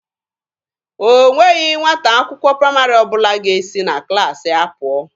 O nweghị nwata akwụkwọ praịmarị ọbụla ga-esi na klaasị ya pụọ.